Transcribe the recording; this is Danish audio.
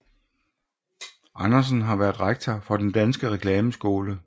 Andersen har været rektor for Den Danske Reklameskole